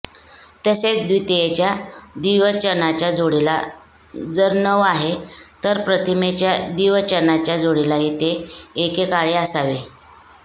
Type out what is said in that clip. तसेच द्वितीयेच्या द्विवचनाच्या जोडीला जर नौ आहे तर प्रथमेच्या द्विवचनाच्या जोडीलाही ते एकेकाळी असावे